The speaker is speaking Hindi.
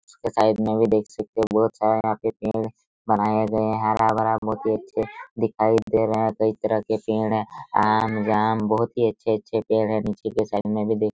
उसके साइड में भी देख सकते हैं बहुत सारा यहां पे पेड़ बनाया गया हैं हरा-भरा बहुत ही अच्छे दिखाई दे रहे हैं कई तरह के पेड़ हैं आम जाम बहुत ही अच्छे-अच्छे पेड़ हैं निचे के साइड में भी देख--